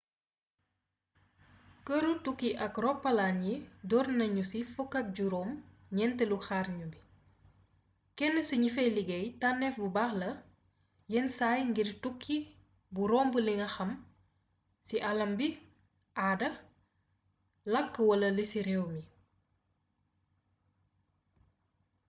keeru tukki ak ropalaan yi doornagnu ci fukk ak juroom gnentélu xarnu bi kénn ci gnifay ligéy tanéf bu baax la yénn say ngir tukki bu romb linga xam ci aalam bi aada lakk wala lici rééw yi